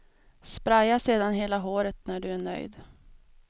Spraya sedan hela håret när du är nöjd.